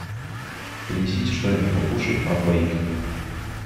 принесите что нибудь покушать на двоих